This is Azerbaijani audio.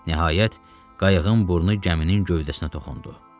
Nəhayət, qayığın burnu gəminin gövdəsinə toxundu.